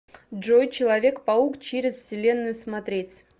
джой человек паук через вселенную смотреть